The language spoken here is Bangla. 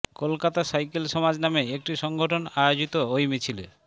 কলকাতা সাইকেল সমাজ নামে একটি সংগঠন আয়োজিত ওই মিছিলে